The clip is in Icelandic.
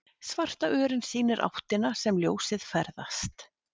Svarta örin sýnir áttina sem ljósið ferðast.